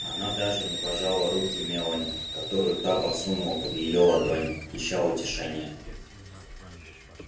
она даже не пожала руки мелани которую та подсунула под её ладонь ища утешения